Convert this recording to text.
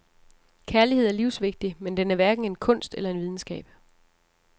Kærlighed er livsvigtig, men den er hverken en kunst eller en videnskab.